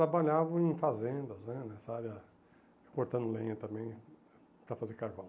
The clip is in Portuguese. Trabalhavam em fazendas, né nessa área, cortando lenha também para fazer carvão.